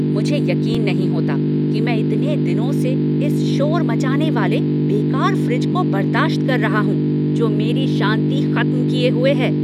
मुझे यकीन नहीं होता कि मैं इतने दिनों से इस शोर मचाने वाले, बेकार फ्रिज को बर्दाश्त कर रहा हूँ जो मेरी शांति खत्म किए हुए है!